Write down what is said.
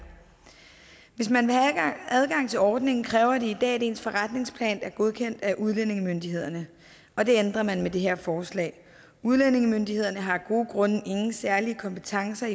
hvis man vil have adgang til ordningen kræver det i dag at ens forretningsplaner er godkendt af udlændingemyndighederne og det ændrer man med det her forslag udlændingemyndighederne har af gode grunde ingen særlige kompetencer